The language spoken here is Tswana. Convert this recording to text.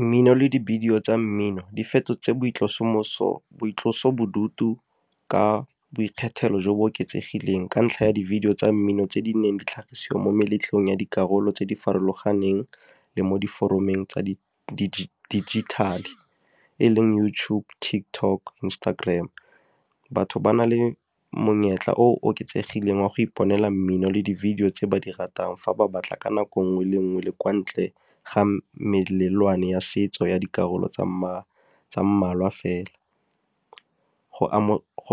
Mmino le di-video tsa mmino di fetotse boitlosomo, boitlosobodutu ka boikgethelo jo bo oketsegileng ka ntlha ya di-video tsa mmino tse di neng di tlhagisiwa mo meletlong ya dikarolo tse di farologaneng, le mo di foromeng tsa digital e leng YouTube, TikTok, Instagram. Batho ba na le monyetla o oketsegileng wa go iponela mmino le di-video tse ba di ratang fa ba batla ka nako nngwe le nngwe le kwa ntle ga melelwane ya setso ya dikarolo tsa mmalwa fela. Go